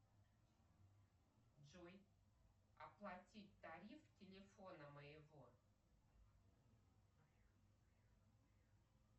джой оплатить тариф телефона моего